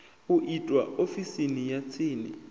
u itwa ofisini ya tsini